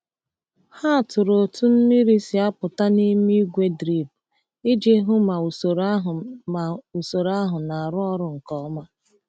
Ha tụrụ otu mmiri si apụta n’ime igwe drip iji hụ ma usoro ahụ ma usoro ahụ na-arụ ọrụ nke ọma.